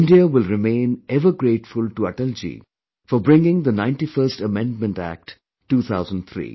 India will remain ever grateful to Atalji for bringing the 91st Amendment Act, 2003